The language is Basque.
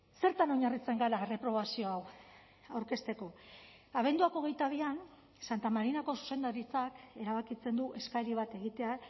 zertan oinarritzen gara erreprobazio hau aurkezteko abenduak hogeita bian santa marinako zuzendaritzak erabakitzen du eskari bat egitea